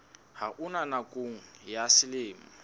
ha ona nakong ya selemo